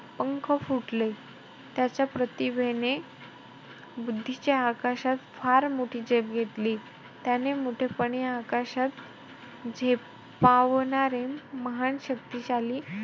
पंख फुटले. त्याच्या प्रातिभिने बुद्धीच्या आकाशात फार मोठी झेप घेतली. त्याने मोठेपणी आकाशात झेपावणारे महान शक्तिशाली पंख फुटले.